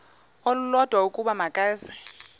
olulodwa ukuba makeze